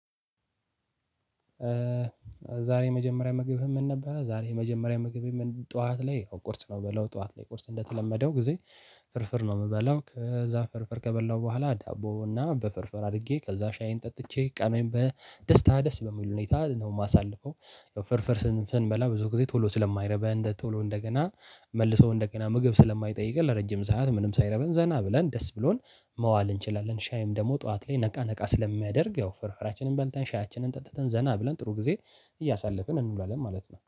ዛሬ የመጀመሪያ ምግብህ ምን ነበረ? ዛሬ የመጀመሪያ ምግቤ ምን ጠዋት ላይ ቁርስ ነው። ምበላው ጠዋት ላይ ቁርስ እንደተለመደው ጊዜ ፍርፍር ነው የምበላው። ከዛ ፍርፍር ከበላው በኋላ ዳቦ እና በፍርፍር አድርጌ ከዛ ሻዬን ጠጥቼ ቀኔን በደስታ ደስ በሚል ሁኔታ ነው የማሳልፈው። ፍርፍር ስንበላ ብዙ ጊዜ ቶሎ ስለማይርበን እንደ ቶሎ እንደገና መልሶ እንደገና ምግብ ስለማይጠይቀን ለረጅም ሰዓት ምንም ሳይርበን ዘና ብለን ደስ ብሎን መዋል እንችላለን። ሻይም ደግሞ ጠዋት ላይ ነቃ ነቃ ስለሚያደርግ ያው ፍርፍራችንን በልተን ሻያችንን ጠጥተን ዘና ብለን ጥሩ ጊዜ እያሳለፍን እንውላለን ማለት ነው